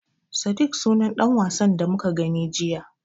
Sadik sunan ɗan wasan da muka gani jiya.